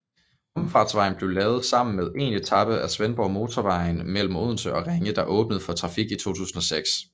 Omfartsvejen blev lavet sammen med 1 etape af Svendborgmotorvejen mellem Odense og Ringe der åbnede for trafik i 2006